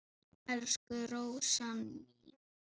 Elsku Rósa mín.